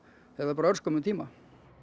eða bara örskömmum tíma